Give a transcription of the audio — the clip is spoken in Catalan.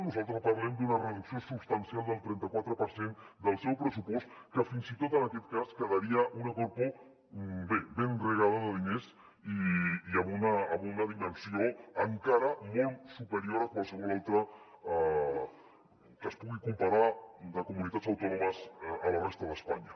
nosaltres parlem d’una reducció substancial del trenta quatre per cent del seu pressupost que fins i tot en aquest cas quedaria una corpo bé ben regada de diners i amb una dimensió encara molt superior a qualsevol altra que es pugui comparar de comunitats autònomes a la resta d’espanya